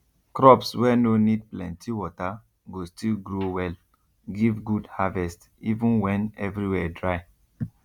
crops wey no need plenty water go still grow well give good harvest even when every where dry